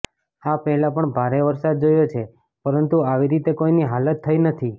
આ પહેલા પણ ભારે વરસાદ જોયો છે પરંતુ આવી રીતે કોઇની હાલાત થઇ નથી